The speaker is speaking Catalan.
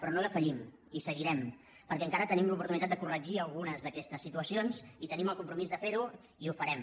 però no defallim i seguirem perquè encara tenim l’oportuni·tat de corregir algunes d’aquestes situacions i tenim el compromís de fer·ho i ho farem